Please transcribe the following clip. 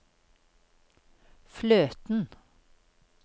fløten